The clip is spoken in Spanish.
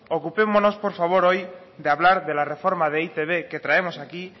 ocupémonos por favor hoy de hablar de la reforma de e i te be que traemos aquí